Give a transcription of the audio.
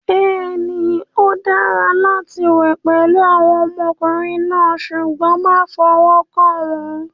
Bẹ́ẹ̀ni, ó dára láti wẹ̀ pẹ̀lú àwọn ọmọkùnrin náà, ṣùgbọ́n má fọwọ́ kàn wọ́n.